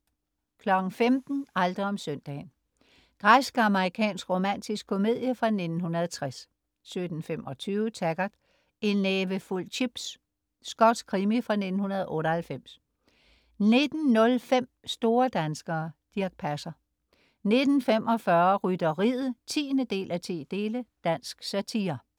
15.00 Aldrig om søndagen. Græsk-amerikansk romantisk komedie fra 1960 17.25 Taggart: En nævefuld chips. Skotsk krimi fra 1998 19.05 Store danskere. Dirch Passer 19.45 Rytteriet 10:10. Dansk satire